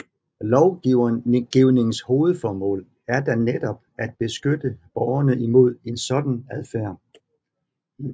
Lovgivningens hovedformål er da netop at beskytte borgerne imod en sådan adfærd